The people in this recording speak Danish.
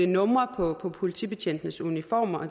numre på politibetjentenes uniformer